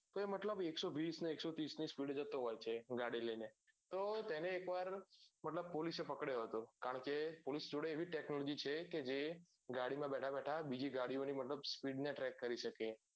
તો મતલબ એ એકસો વિસ એકસો ત્રીસ ની speed એ જતો હોય છે ગાડી લઈને તો તેને એક વાર મતલબ police એ પકડ્યો હતો કારણ કે police જોડે એવી technology છે કે ગાડી માં બેઠા બેઠા બીજી ગાડીઓ ની મતલબ speed ને ટ્રેક